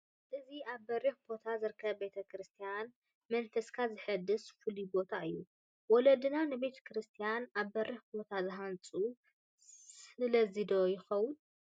እዚ ኣብ በሪኽ ቦታ ዝርከብ ቤተ ክርስቲያን መንፈስካ ዘሕድስ ፍሉይ ቦታ እዩ፡፡ ወለድና ንቤተ ክርስቲያን ኣብ በሪኽ ቦታ ዝሃንፁ ስለዚ ዶ ይኾን?